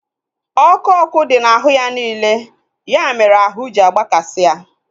ọkụ ọkụ dị na ahụ ya niile. Ya mere ahụ ji agbakasi ya